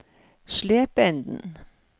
Slependen